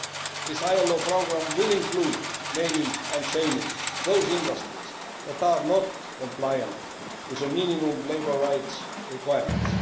This ILO programme will include naming and shaming' those industries that are not compliant with minimum labour rights requirements.